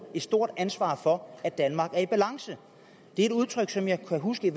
et stort ansvar for at danmark er i balance det er et udtryk som jeg kan huske